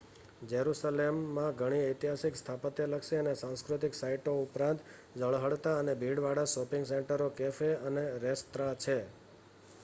જેરુસલેમમાં ઘણી ઐતિહાસિક સ્થાપત્યલક્ષી અને સાંસ્કૃતિક સાઇટો ઉપરાંત ઝળહળતા અને ભીડવાળા શૉપિંગ સેન્ટરો કૅફે અને રેસ્ત્રાં છે